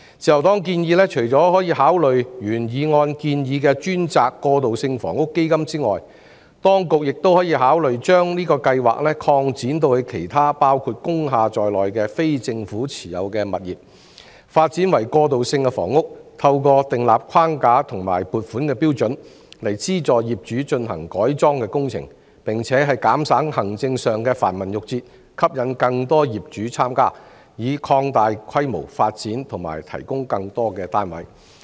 自由黨建議，除了可以考慮按原議案的建議成立專責"過渡性房屋基金"外，當局亦可以考慮將這個計劃擴展至其他包括工廈在內的非政府持有物業，讓其發展為過渡性房屋，透過訂立框架及撥款標準，資助業主進行改裝工程，並且減省行政上的繁文縟節，吸引更多業主參加，以擴大規模發展及提供更多單位。